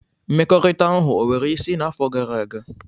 Mmekọrịta ahụ e nwere isí n'afọ gara aga?